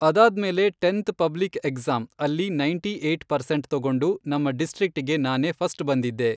ಅದಾದ್ಮೇಲೆ tenth public exam ಅಲ್ಲಿ ninety eight percent ತಗೊಂಡು ನಮ್ಮ ಡಿಸ್ಟ್ರಿಕ್ಕಿಗೆ ನಾನೇ ಫಸ್ಟ್ ಬಂದಿದ್ದೆ.